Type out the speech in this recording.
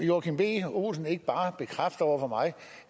joachim b olsen ikke bare bekræfte over for mig